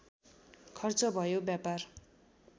खर्च भयो व्यापार